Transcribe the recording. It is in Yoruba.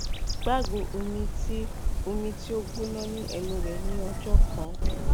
gbagbo omi ti o omi ti o gbona ni ẹnu rẹ ni ọjọ kan